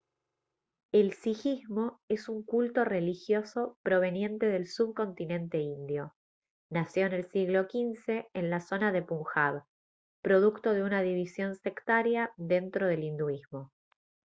el sijismo es un culto religioso proveniente del subcontinente indio nació en el siglo xv en la zona de punjab producto de una división sectaria dentro del hinduismo